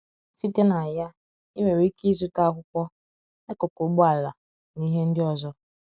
Site na ya, ị nwere ike ịzụta akwụkwọ, akụkụ ụgbọala, na ihe ndị ọzọ.